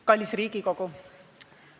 Kallis Riigikogu!